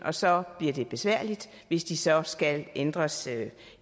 og så bliver det besværligt hvis de så skal ændres